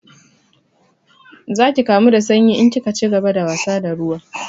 Za ki kamu da sanyi in kika cigaba da wasa da ruwa